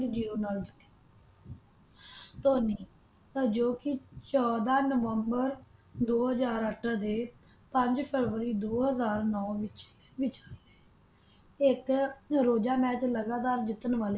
Zero ਨਾਲ ਜਿੱਤੀ ਧੋਨੀ ਤਾ ਜੋ ਕੇ ਚੌਦਹ ਨਵੰਬਰ ਦੋ ਹਜ਼ਾਰ ਅੱਠ ਦੇ ਪੰਜ ਫਰਬਰੀ ਦੋ ਹਾਜ਼ਰ ਨੌ ਵਿਚ ਵਿਚ ਇਕ ਨਰੋਜਾ ਮੈਚ ਲਗਾਤਾਰ ਜਿੱਤਣ ਵਾਲੇ